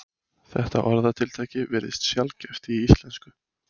Þetta orðatiltæki virðist sjaldgæft í íslensku.